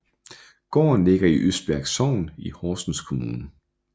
Gården ligger i Østbirk Sogn i Horsens Kommune